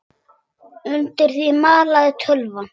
Undir því malaði tölvan.